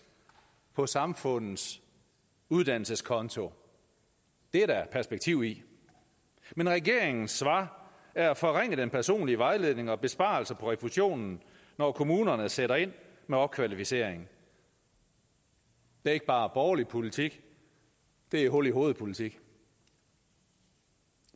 på samfundets uddannelseskonto det er der perspektiv i men regeringens svar er at forringe den personlige vejledning og besparelser på refusionen når kommunerne sætter ind med opkvalificering det er ikke bare borgerlig politik det er hul i hovedet politik